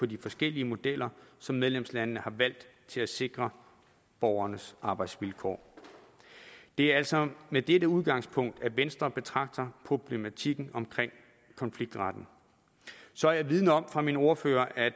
de forskellige modeller som medlemslandene har valgt til at sikre borgernes arbejdsvilkår det er altså med dette udgangspunkt at venstre betragter problematikken omkring konfliktretten så er jeg vidende om fra min ordfører at